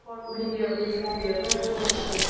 video video video um um um um